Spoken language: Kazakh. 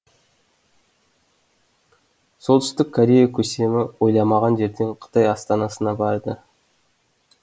солтүстік корея көсемі ойламаған жерден қытай астанасына барды